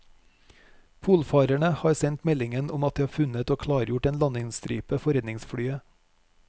Polfarerne har sendt meldingen om at de har funnet og klargjort en landingsstripe for redningsflyet.